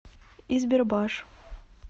избербаш